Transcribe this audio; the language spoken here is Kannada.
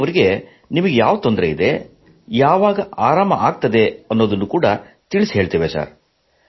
ನಾವು ಅವರಿಗೆ ನಿಮಗೆ ಯಾವ ತೊಂದರೆ ಇದೆ ಯಾವಾಗ ಆರಾಮವಾಗುತ್ತದೆ ಎಂಬುದನ್ನು ತಿಳಿಹೇಳುತ್ತೇವೆ